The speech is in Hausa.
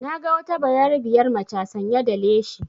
Na ga wata bayarabiyar maca sanya da leshi